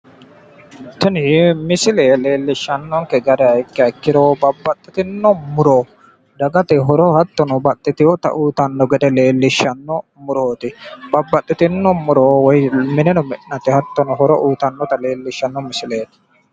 Tini misile leelishanonkehu tini kalaqamu muro babbaxino horo noonsa muro ikkanna, xa la'nanni hee'noommoti mine mi'nate horonsi'nanni muroti